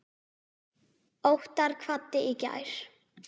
Óttar kvaddi í gær.